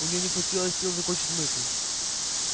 у неё не хватило сил закончить мысль